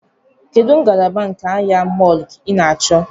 Kedụ ngalaba nke ahịa mọọlụ ị na-achọ?